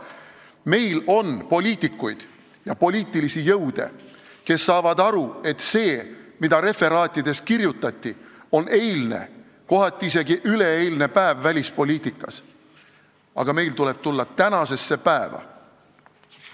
Meil on poliitikuid ja poliitilisi jõude, kes saavad aru, et see, mida nendes referaatides kirjutati, on välispoliitika eilne, kohati isegi üleeilne päev, aga meil tuleb tulla tänasesse päeva.